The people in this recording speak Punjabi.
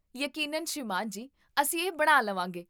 ਯਕੀਨਨ ਸ੍ਰੀਮਾਨ ਜੀ, ਅਸੀਂ ਇਹ ਬਣਾ ਲਵਾਂਗੇ